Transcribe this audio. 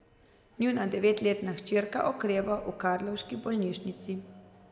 Njuna devetletna hčerka okreva v karlovški bolnišnici.